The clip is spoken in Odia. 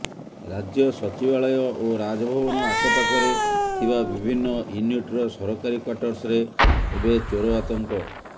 ରାଜ୍ୟ ସଚିବାଳୟ ଓ ରାଜଭବନ ଆଖପାଖରେ ଥିବା ବିଭିନ୍ନ ୟୁନିଟ୍ର ସରକାରୀ କ୍ୱାଟର୍ସରେ ଏବେ ଚୋର ଆତଙ୍କ